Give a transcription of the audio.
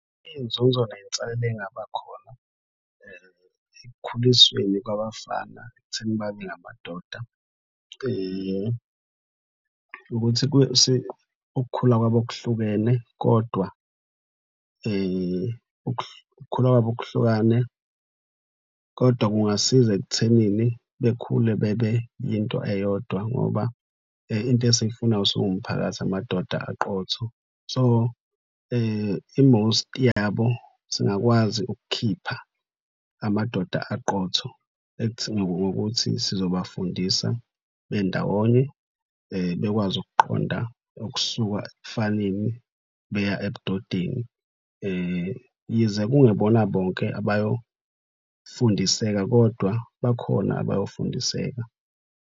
Iy'nzuzo ney'nselela engaba khona ekukhulisweni kwabafana ekutheni babe ngamadoda ukuthi ukukhula kwabo okuhlukene kodwa ukukhula kwabo kuhlukane, kodwa kungasiza ekuthenini bekhule bebe yinto eyodwa ngoba into esiyifunayo siwumphakathi amadoda aqotho. So i-most yabo singakwazi ukukhipha amadoda aqotho ngokuthi sizobafundisa bendawonye bekwazi ukuqonda, ukusuka ebufaneni beya ebudodeni. Yize kungebona bonke abayofundiseka kodwa bakhona abayofundiseka.